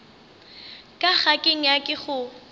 ka ga ke nyake go